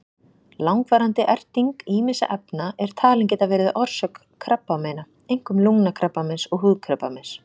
Langvarandi erting ýmissa efna er talin geta verið orsök krabbameina, einkum lungnakrabbameins og húðkrabbameins.